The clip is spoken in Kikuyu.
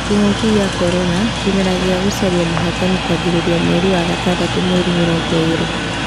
Kĩng'uki gĩa korona, kĩmera gĩa gũcaria mũhotani kwanjĩrĩria mweri wa gatandatũ mweri mĩrongo ĩrĩ